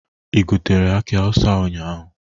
Ị gotere aki awụsa ụnyaahụ?